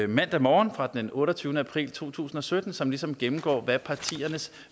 mandag morgen fra den otteogtyvende april to tusind og sytten som ligesom gennemgår hvad partiernes